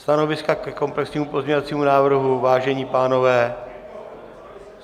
Stanoviska ke komplexnímu pozměňovacímu návrhu, vážení pánové!